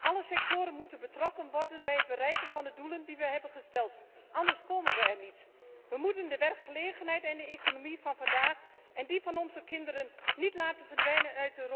Alle sectoren moeten betrokken worden bij het bereiken van de doelen die we hebben gesteld, anders komen we er niet. We mogen de werkgelegenheid en de economie van vandaag en die van onze kinderen niet uit Europa laten verdwijnen.